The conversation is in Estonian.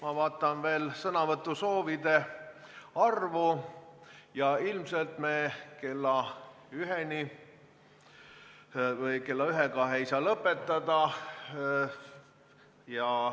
Ma vaatan sõnavõtusoovide arvu ja näen, et ilmselt me kella üheks ei saa lõpetada.